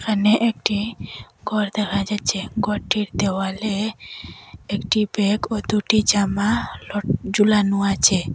এখানে একটি ঘর দেখা যাচ্ছে ঘরটির দেওয়ালে একটি ব্যাগ ও দুটি জামা লট ঝুলানো আছে।